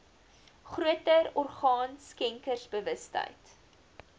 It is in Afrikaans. groter orgaan skenkersbewustheid